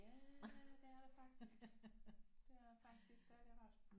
Ja det er der faktisk det er faktisk ikke særlig rart